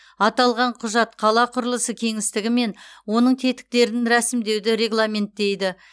аталған құжат қала құрылысы кеңістігі мен оның тетіктерін рәсімдеуді регламенттейді